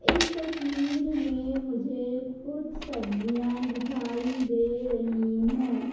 इस तस्वीर में मुझे कुछ सब्जियां दिखाई दे रही हैं।